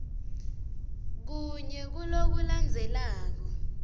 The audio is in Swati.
kunye kuloku landzelako